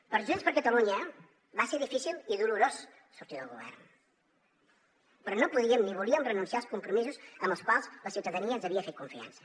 per junts per catalunya va ser difícil i dolorós sortir del govern però no podíem ni volíem renunciar als compromisos amb els quals la ciutadania ens havia fet confiança